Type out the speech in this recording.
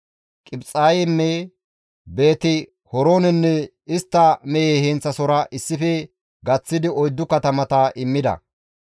Qibixayme, Beeti-Horoonenne istta mehe heenththasohora issife gaththidi 4 katamata immida.